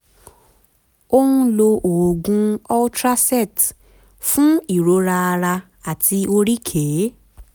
ó ń lo oògùn ultracet fún ìrora ara àti oríkèé